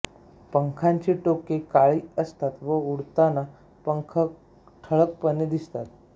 पंखांची टोके काळी असतात व उडताना पंख ठळकपणे दिसतात